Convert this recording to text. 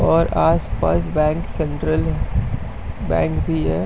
और आसपास bank central ह बैंक भी है।